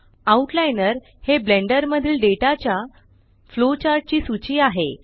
outliner हे Blender मधील data च्या फ्लोचार्ट ची सूची आहे